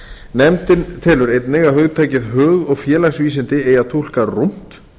nefndin telur einnig að hugtakið hug og félagsvísindi eigi að túlka rúmt